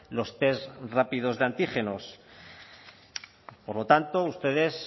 los test rápidos de antígenos por lo tanto ustedes